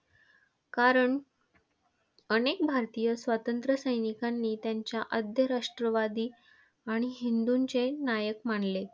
कारण, अनेक भारतीय स्वातंत्र्य सैनिकांनी त्यांना आद्य राष्ट्रवादी आणि हिंदूंचे नायक मानले.